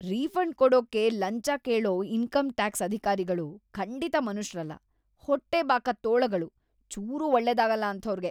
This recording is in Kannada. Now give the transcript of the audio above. ರೀಫಂಡ್ ಕೊಡೋಕೆ ಲಂಚ ಕೇಳೋ ಇನ್ಕಮ್ ಟ್ಯಾಕ್ಸ್ ಅಧಿಕಾರಿಗಳು ಖಂಡಿತ ಮನುಷ್ರಲ್ಲ.. ಹೊಟ್ಟೆಬಾಕ ತೋಳಗಳು! ಚೂರೂ ಒಳ್ಳೇದಾಗಲ್ಲ ಅಂಥೋರ್ಗೆ.